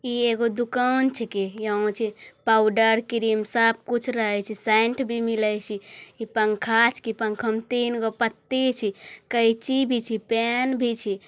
ई एगो दुकान छेके। यहाँ जे पावडर क्रीम सब कुछ रहैं छे सेंट भी मिलई छी। ई पंखा छिई पंखा मे तीनगो पत्ति छि कईची छि पेन भी छी।